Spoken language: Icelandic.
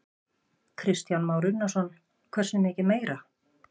Kristján Már Unnarsson: Hversu mikið meira?